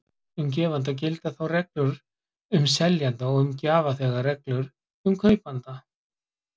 Um gefanda gilda þá reglur um seljanda og um gjafþega reglur um kaupanda.